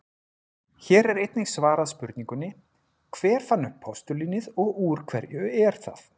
Hér er einnig svarað spurningunni: Hver fann upp postulínið og úr hverju er það?